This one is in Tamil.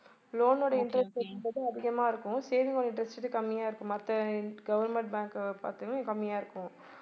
loan ஓட interest rate வந்து அதிகமா இருக்கும் saving ஓட interest rate கம்மியா இருக்கும் மத்த government bank அ பாத்தீங்கன்னா கம்மியா இருக்கும்